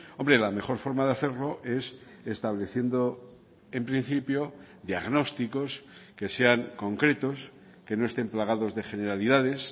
hombre la mejor forma de hacerlo es estableciendo en principio diagnósticos que sean concretos que no estén plagados de generalidades